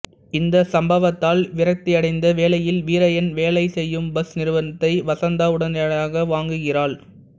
இந்த சம்பவத்தால் விரக்தியடைந்த வேளையில் வீரய்யன் வேலை செய்யும் பஸ் நிறுவனத்தை வசந்தா உடனடியாக வாங்குகிறாள்